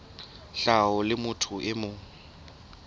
tlhaho la motho e mong